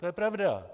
To je pravda.